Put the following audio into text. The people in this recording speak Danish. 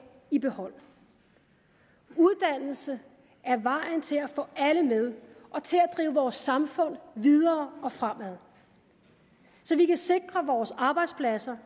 i behold uddannelse er vejen både til at få alle med og til at drive vores samfund videre og fremad så vi kan sikre vores arbejdspladser